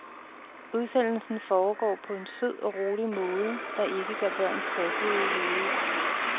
Udsendelsen foregår på en sød og rolig måde, der ikke gør børn tossede i hovedet.